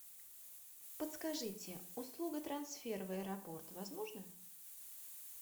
подскажите услуга трансфер в аэропорт возможна